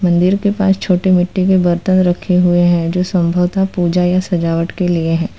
मंदिर के पास छोटी मिट्टी के बर्तन रखे हुए हैं जो संभवत पूजा या सजावट के लिए है।